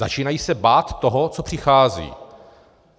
Začínají se bát toho, co přichází.